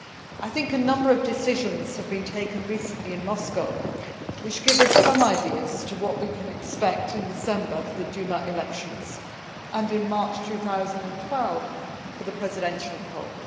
I think a number of decisions have been taken recently in Moscow which give us some ideas as to what we can expect in December for the Duma elections, and in March 2012 for the presidential poll.